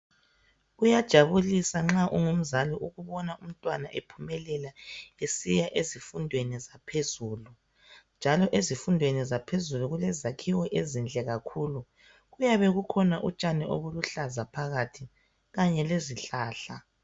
Kuyajabulisa nxa ungumzali ukubona umntwana nxa ephumelela esiya ezifundweni zaphezulu njalo ezifundweni zaphezulu kule zakhiwo ezinhle kakhulu. Kuyabe kukhona utshani obuluhlaza phakathi kanye lezihlahla.